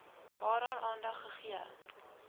waaraan aandag gegee